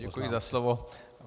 Děkuji za slovo.